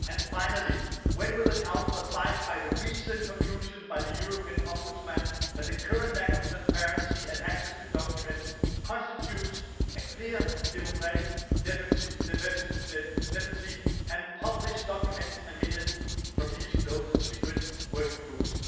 Finally, when will the Council abide by the recent conclusion by the European Ombudsman that the current lack of transparency and access to documents constitutes a clear democratic deficiency and publish documents and minutes from these closed and secret working groups?